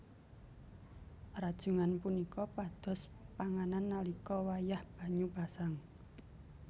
Rajungan punika pados panganan nalika wayah banyu pasang